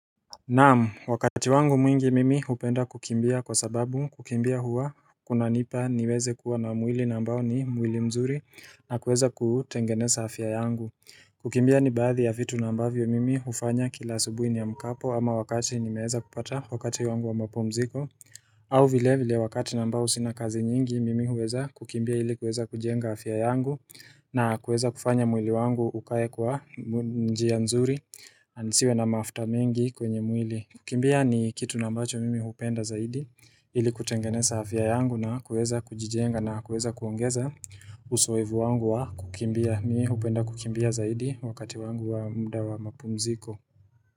Naam wakati wangu mwingi mimi hupenda kukimbia kwa sababu kukimbia huwa kunanipa niweze kuwa na mwili na ambao ni mwili mzuri na kuweza kutengeneza afya yangu kukimbia ni baadhi ya vitu na ambavyo mimi hufanya kila asubuhi niamkapo ama wakati nimeweza kupata wakati wangu wa mapumziko au vile vile wakati na ambao sina kazi nyingi mimi huweza kukimbia ili kuweza kujenga afya yangu na kuweza kufanya mwili wangu ukae kwa njia mzuri Anisiwe na mafuta mingi kwenye mwili kukimbia ni kitu na ambacho mimi hupenda zaidi ili kutengeneza afya yangu na kuweza kujijenga na kuweza kuongeza Uzoevu wangu wa kukimbia mimi hupenda kukimbia zaidi wakati wangu wa muda wa mapumziko.